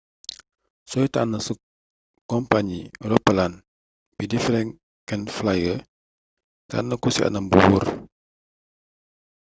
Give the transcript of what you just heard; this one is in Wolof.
sooy tànn sa kompañi roppalaan bii di frequent flyer tànn ko ci anam wu wóor